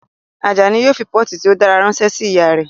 Ajani yóò fi pọ́ọ̀tù tí ó dára ránṣẹ́ sí ìyá rẹ̀